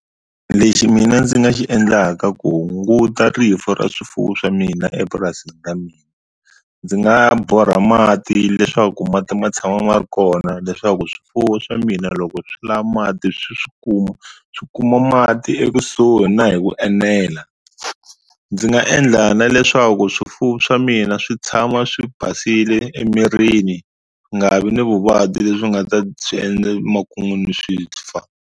Lexi mina ndzi nga xi endlaka ku hunguta rifu ra swifuwo swa mina epurasini ra mina ndzi nga borha mati leswaku mati ma tshama ma ri kona leswaku swifuwo swa mina loko swi lava mati swi swi kuma swi kuma mati ekusuhi na hi ku enela ndzi nga endla na leswaku swifuwo swa mina swi tshama swi basile emirini nga vi ni vuvabyi lebyi nga ta swi endla emakun'wini swi fa.